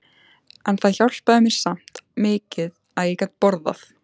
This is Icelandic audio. En það hjálpaði mér samt mikið að ég gat borðað.